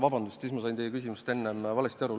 Vabandust, sain enne teie küsimusest valesti aru!